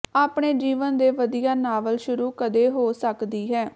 ਆਪਣੇ ਜੀਵਨ ਦੇ ਵਧੀਆ ਨਾਵਲ ਸ਼ੁਰੂ ਕਦੇ ਹੋ ਸਕਦੀ ਹੈ